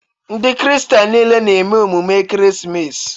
Ndị kristian nile na-eme emume ekeresimesi